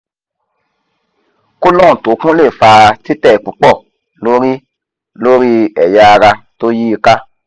colon to kun le fa tite pupo lori lori eya ara to yi i ka